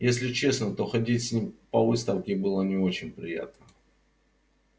если честно то ходить с ним по выставке было не очень приятно